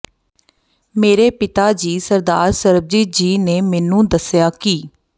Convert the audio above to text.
ਮੇਰੇ ਪਿਤਾ ਜੀ ਸਰਦਾਰ ਸਰਬਜੀਤ ਜੀ ਨੇ ਮੈਨੂੰ ਦੱਸਿਆ ਕਿ